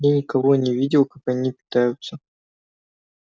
я никого не видел как они питаются